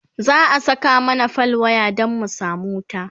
za'a Saka mana fal waya Dan mu samu wuta